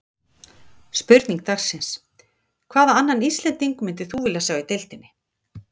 Spurning dagsins: Hvaða annan Íslending myndir þú vilja sjá í deildinni?